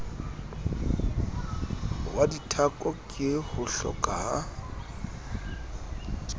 wa dithako ke hohloka a